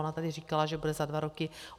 Ona tady říkala, že bude za dva roky.